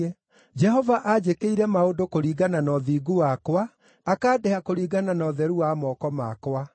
“Jehova anjĩkĩire maũndũ kũringana na ũthingu wakwa, akandĩha kũringana na ũtheru wa moko makwa.